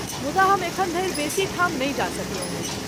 मुदा हम एखन धरि बेसी ठाम नहि जा सकलहुँ अछि।